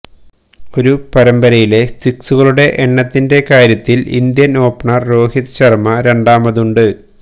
ഒരു പരമ്പരയിലെ സിക്സുകളുടെ എണ്ണത്തിന്റെ കാര്യത്തില് ഇന്ത്യന് ഓപ്പണര് രോഹിത് ശര്മ രണ്ടാമതുണ്ട്